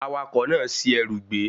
Awakọ̀ náà ṣi ẹrù gbé